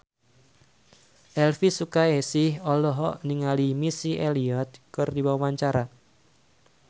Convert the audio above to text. Elvi Sukaesih olohok ningali Missy Elliott keur diwawancara